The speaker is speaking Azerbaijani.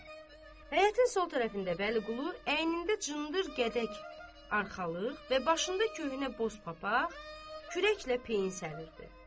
Həyətin sol tərəfində Bəliqulu əynində cındır, gədək arxalıq və başında köhnə boz papaq kürəklə peyin səriridi.